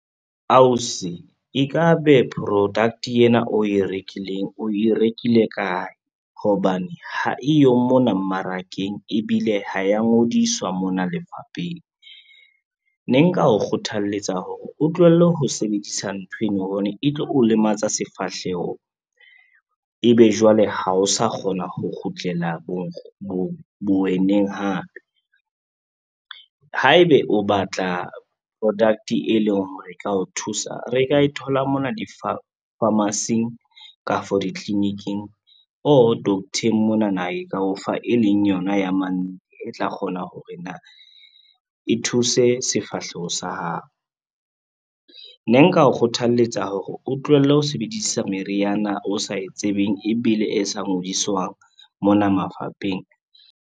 Ausi e ka be product ena o e rekileng o e rekile kae, hobane ha eyo mona mmarakeng ebile ha ya ngodiswa mona lefapheng. Ne nka o kgothaletsa hore o tlohelle ho sebedisa nthweno hobane e tlo o lematsa sefahleho, e be jwale ha o sa kgona ho kgutlela bo weneng hape. Haebe o batla product e leng hore e tla o thusa, re ka e thola mona di-pharmacy-eng kafo ditliliniking or doctor-eng monana e ka o fa e leng yona e tla kgona hore na e thuse sefahleho sa hao. Ne nka o kgothaletsa hore o tlohelle ho sebedisa meriana o sa e tsebeng ebile e sa ngodiswang mona mafapheng.